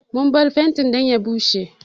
Mun bar fenti dan ya bushe.